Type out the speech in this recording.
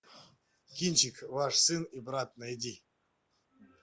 кинчик ваш сын и брат найди